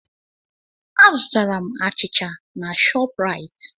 Azutara m achịcha na Shọpraịt.